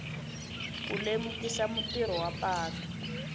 ku lemukisa mutirhisi wa patu